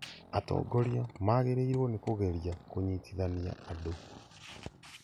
Atongoria magĩrĩirwo nĩ kũgeria kũnyitithania andũ